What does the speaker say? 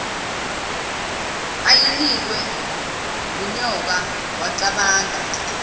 ayinikwe ngunyoka wacabanga